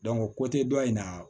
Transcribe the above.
ko tɛ dɔ in na